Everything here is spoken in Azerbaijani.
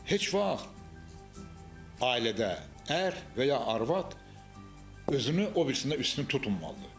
Heç vaxt ailədə ər və ya arvad özünü o birisindən üstün tutmamalıdır.